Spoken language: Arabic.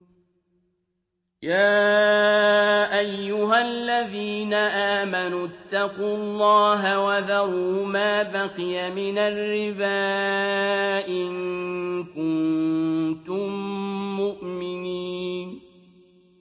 يَا أَيُّهَا الَّذِينَ آمَنُوا اتَّقُوا اللَّهَ وَذَرُوا مَا بَقِيَ مِنَ الرِّبَا إِن كُنتُم مُّؤْمِنِينَ